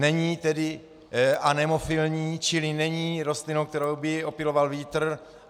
Není tedy anemofilní, čili není rostlinou, kterou by opyloval vítr.